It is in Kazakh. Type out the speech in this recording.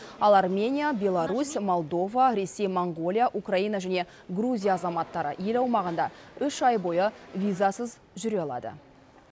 ал армения беларусь молдова ресей моңғолия украина және грузия азаматтары ел аумағында үш ай бойы визасыз жүре алады